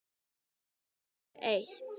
Það er númer eitt.